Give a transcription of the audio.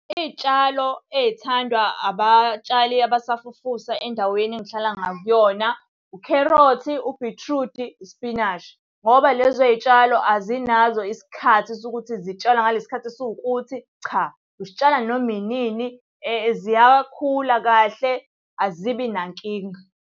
Iy'tshalo ey'thandwa abatshali abasafufusa endaweni engihlala ngakuyona, ukherothi, ubhithrudi, isipinashi. Ngoba lezo y'tshalo azinazo isikhathi sokuthi zitshalwa ngale sikhathi esiwukuthi, cha. Usitshala noma inini ziyakhula kahle, azibi nankinga.